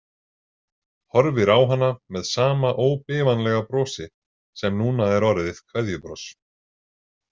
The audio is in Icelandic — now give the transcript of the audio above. Horfir á hana með sama óbifanlega brosi sem núna er orðið kveðjubros.